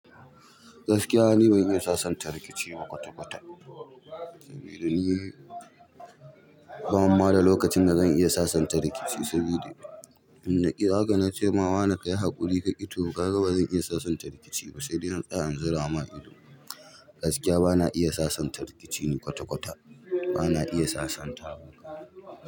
Gaskiya ni ban iya sasanta rikici ma kwata-kwata. Saboda ni bani ma da lokacin da zan iya sasanta rikici sabida in naƙi nace ma wane kayi haƙuri kaƙi toh, kaga bazan iya sasanta rikici ba sai dai na tsaya na zura ma ido. Gaskiya bana iya sasanta rikici ne kwata-kwata. Bana iya sasanta.